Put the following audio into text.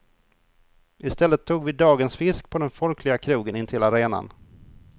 I stället tog vi dagens fisk på den folkliga krogen intill arenan.